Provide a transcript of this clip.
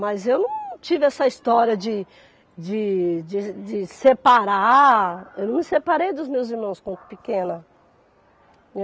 Mas eu não tive essa história de de de de separar, eu não me separei dos meus irmãos quando pequena.